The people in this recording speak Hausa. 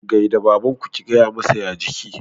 Gai da babanku. gaya masa "ya jiki"!